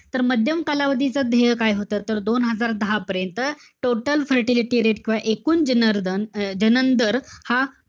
तर माध्यम कालावधीचा ध्येय काय होतं? तर दोन हजार दहापर्यंत total fertility rate किंवा एकूण जनर दन~ अं जनन दर हा,